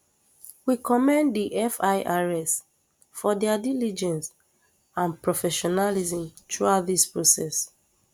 we commend di firs for dia diligence and professionalism throughout dis process